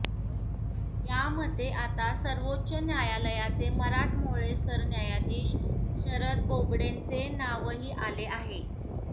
यामध्ये आता सर्वोच्च न्यायालयाचे मराठमोळे सरन्यायाधीश शरद बोबडेंचे नावही आले आहे